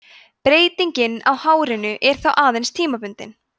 breytingin á hárinu er þá aðeins tímabundin